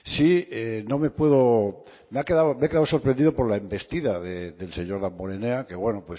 me he quedado sorprendido por la envestida del señor damborenea que bueno